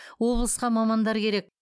облысқа мамандар керек